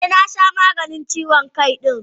Eh, na sha maganin ciwon Kai din.